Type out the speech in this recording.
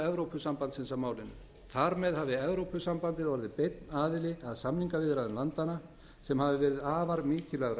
evrópusambandsins að málinu þar með hafi evrópusambandið orðið beinn aðili að samningaviðræðum landanna sem hafi verið afar mikilvægur